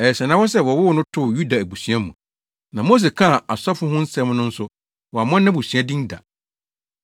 Ɛyɛ sɛnnahɔ sɛ wɔwoo no too Yuda abusua mu, na Mose kaa asɔfo ho asɛm no nso, wammɔ nʼabusua din da.